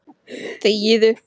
Það fæ ég ekki séð.